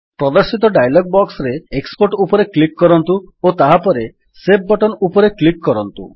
ପ୍ରଦର୍ଶିତ ଡାୟଲଗ୍ ବକ୍ସରେ ଏକ୍ସପୋର୍ଟ ଉପରେ କ୍ଲିକ୍ କରନ୍ତୁ ଓ ତାହାପରେ ସେଭ୍ ବଟନ୍ ଉପରେ କ୍ଲିକ୍ କରନ୍ତୁ